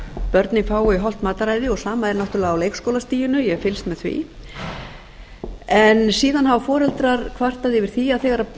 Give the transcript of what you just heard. börnin fái hollt mataræði og sama er náttúrlega á leikskólastiginu ég hef fylgst með því en síðan hafa foreldrar kvartað yfir því að